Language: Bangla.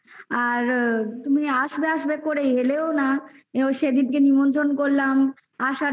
আর তুমি আসবে আসবে করেই এলেও না এমন কি সেইদিনকে নিমন্তন করলাম আসার জন্য তো